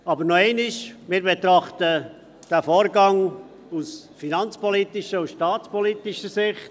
Aber, noch einmal: Wir betrachten diesen Vorgang aus finanzpolitischer und staatspolitischer Sicht.